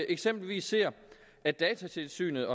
eksempelvis ser at datatilsynet